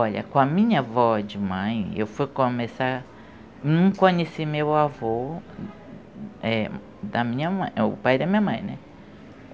Olha, com a minha avó de mãe, eu fui começar... não conheci meu avô é da minha mãe, o pai da minha mãe, né?